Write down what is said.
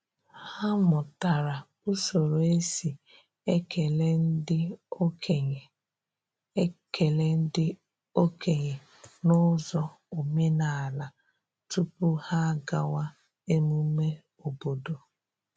Ha mụtara usoro e si ekele ndị okenye ekele ndị okenye n’ụzọ omenala tupu ha agawa emume obodo.